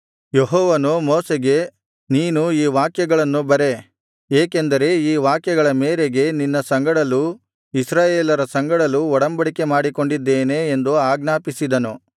ಯೆಹೋವನು ಮೋಶೆಗೆ ನೀನು ಈ ವಾಕ್ಯಗಳನ್ನು ಬರೆ ಏಕೆಂದರೆ ಈ ವಾಕ್ಯಗಳ ಮೇರೆಗೆ ನಿನ್ನ ಸಂಗಡಲೂ ಇಸ್ರಾಯೇಲರ ಸಂಗಡಲೂ ಒಡಂಬಡಿಕೆ ಮಾಡಿಕೊಂಡಿದ್ದೇನೆ ಎಂದು ಅಜ್ಞಾಪಿಸಿದನು